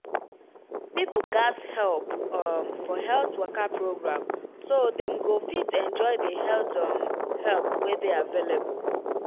people gatz help um for health waka program so dem go fit enjoy the health um help wey dey available.